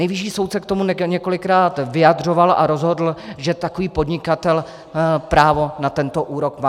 Nejvyšší soud se k tomu několikrát vyjadřoval a rozhodl, že takový podnikatel právo na tento úrok má.